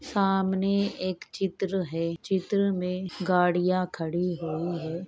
सामने एक चित्र है | चित्र में गाड़ियाँ खड़ी हुई है ।